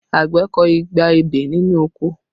Àgbẹ̀ kọ igba ebè nínú oko